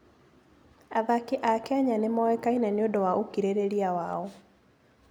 Athaki a Kenya nĩ moĩkaine nĩ ũndũ wa ũkirĩrĩria wao.